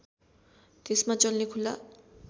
त्यसमा चल्ने खुला